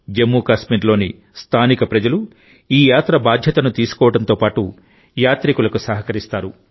జమ్మూ కాశ్మీర్లోని స్థానిక ప్రజలు ఈ యాత్ర బాధ్యతను తీసుకోవడంతో పాటు యాత్రికులకు సహకరిస్తారు